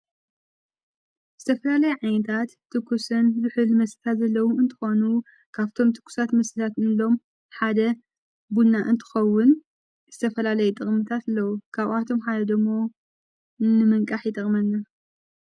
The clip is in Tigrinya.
ዝተፈላለይ ዓይነታት ትኩስን ዝሕል መስተታት ዘለዉ እንተኮኑ ካብቶም ትጉሳት መስታትንሎም ሓደ ቡና እንትኸውን ዝተፈላለይ ጥቕምታት አለዉ ካብኣቶም ሓይዶሞ ንምንቃሕ ይጠቕመኒ::